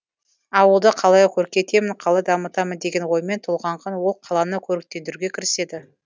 ауылды қалай көркейтемін қалай дамытамын деген оймен толғанған ол қаланы көріктендіруге кіріседі